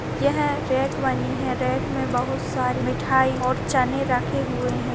यहाँ रैक बनी है रैक मे बहुत सारी मिठाई और चने रखे हुए है।